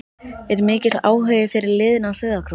Er mikill áhugi fyrir liðinu á Sauðárkróki?